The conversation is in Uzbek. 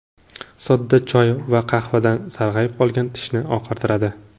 Soda choy va qahvadan sarg‘ayib qolgan tishni oqartiradi.